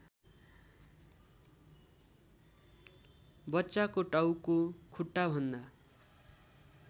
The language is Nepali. बच्चाको टाउको खुट्टाभन्दा